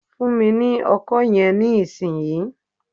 Fún mi ní Ọkọ́ yẹn ní ìsìn yìí!